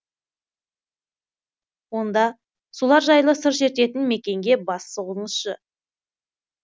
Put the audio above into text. онда солар жайлы сыр шертетін мекенге бас сұғыңызшы